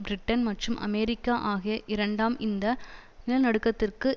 Britain மற்றும் America ஆகிய இரண்டாம் இந்த நிலநடுக்கத்திற்கு